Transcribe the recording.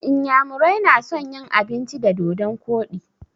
Inyamurai na son yin abinci da dodon koɗi